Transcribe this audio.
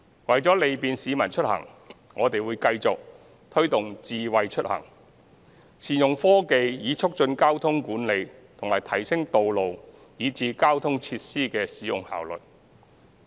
為利便市民出行，我們會繼續推動"智慧出行"，善用科技以促進交通管理和提升道路以至交通設施的使用效率。